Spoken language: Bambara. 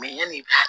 yanni i ka